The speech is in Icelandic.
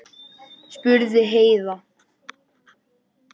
spurði Heiða.